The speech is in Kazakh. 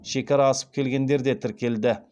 шекара асып келгендер де тіркелді